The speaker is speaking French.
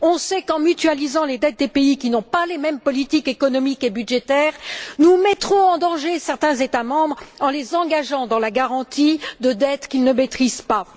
On sait qu'en mutualisant les dettes des pays qui n'ont pas les mêmes politiques économiques et budgétaires, nous mettrons en danger certains États membres en les engageant dans la garantie de dettes qu'ils ne maîtrisent pas.